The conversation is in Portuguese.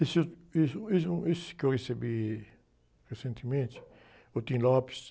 Esse, esse, esse, esse que eu recebi recentemente, o...